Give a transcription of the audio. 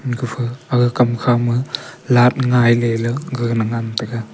gapha aga hamkha ma laght ngailey gagana ngan taiga.